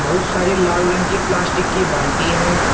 वो सारी लाल रंग की प्लास्टिक की बाल्टीए हैं।